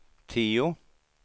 tio